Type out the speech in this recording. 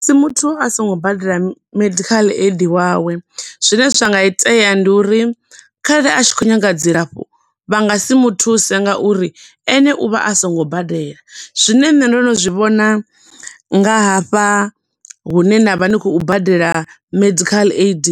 Musi muthu a songo badela medical aid wawe, zwine zwa nga itea ndi uri khare a tshi khou nyaga dzilafho vha nga si mu thuse nga uri ene u vha a sango badela. Zwine nne ndo no zwi vhona nga hafha hune na vha ni khou badela medical aid,